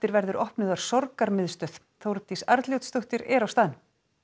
verður opnuð þar Þórdís Arnljótsdóttir er á staðnum